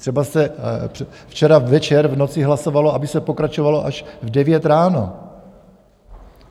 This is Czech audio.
Třeba se včera večer v noci hlasovalo, aby se pokračovalo až v 9 ráno.